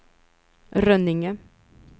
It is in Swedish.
Rönninge